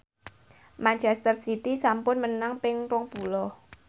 manchester city sampun menang ping rong puluh